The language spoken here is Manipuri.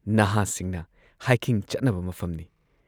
ꯅꯍꯥꯁꯤꯡꯅ ꯍꯥꯏꯀꯤꯡ ꯆꯠꯅꯕ ꯃꯐꯝꯅꯤ ꯫